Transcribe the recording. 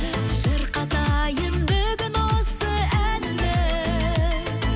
шырқатайын бүгін осы әнімді